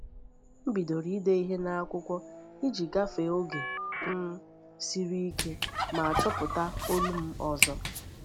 M bidoro ide ihe n’akwụkwọ iji gafee oge um siri ike ma chọpụta olu m ọzọ.